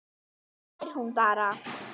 Þá glottir hún bara.